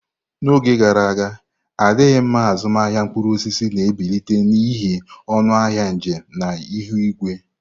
N'oge gara aga, adịghị mma azụmahịa mkpụrụ osisi na-ebilite n'ihi ọnụ ahịa njem na ihu igwe.